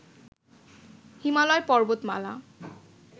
হিমালয় পর্বতমালা